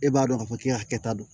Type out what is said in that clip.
E b'a dɔn k'a fɔ k'i ka hakɛ ta don